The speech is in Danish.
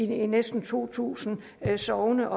næsten to tusind sogne